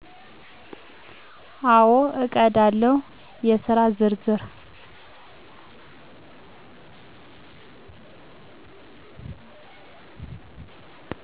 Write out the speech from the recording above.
አወ እቀዳለሁ የስራ ዝርዝር